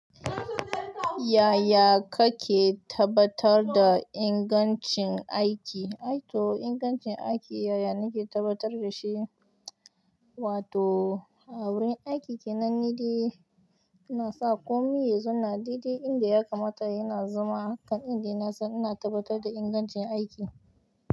Yaya kake tabbatar da ingancin aiki? Aito ingancin aiki yaya nake tabbatar da shi? Wato a wurin aiki kenan ni dai ina sa komai yanzu na daidai inda ya kamata yana zama. Kan indai nasan ina tabbatar da ingancin aiki.